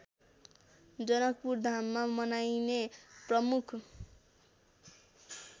जनकपुरधाममा मनाइने प्रमुख